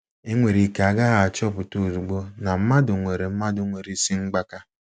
E nwere ike a gaghị achọpụta ozugbo na mmadụ nwere mmadụ nwere isi mgbaka.